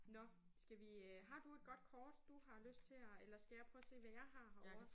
Nåh skal vi øh har du et godt kort du har lyst til at eller skal jeg prøve at se hvad jeg har herovre?